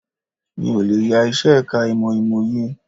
Mi ò lè yá iṣẹ́ ẹ̀ka ìmọ̀ Ìmòye